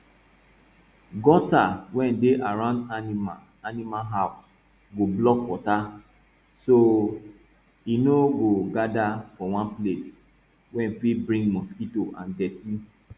gutter wey dey round animal animal house go block water so e no go gather for one place wey fit bring mosquito and dirty